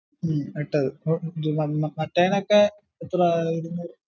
ഹും ഇട്ടത് മറ്റെനോക്കെ എത്ര ഇടിന്നെ